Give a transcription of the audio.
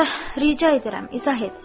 Ricə edirəm, izah et.